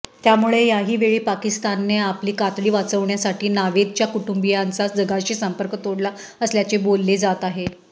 त्यामुळे याहीवेळी पाकिस्तानने आपली कातडी वाचवण्यासाठी नावेदच्या कुटुंबीयांचा जगाशी संपर्क तोडला असल्याचे बोलले जात आहे